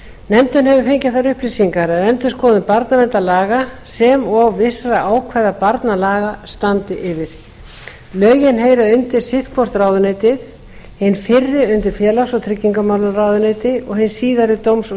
þær upplýsingar að endurskoðun barnaverndarlaga sem og vissra ákvæða barnalaga standi yfir lögin heyra undir sitt hvort ráðuneytið hin fyrri undir félags og tryggingamálaráðuneyti og hin síðari dóms og